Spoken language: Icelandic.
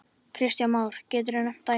Kristján Már: Geturðu nefnt dæmi?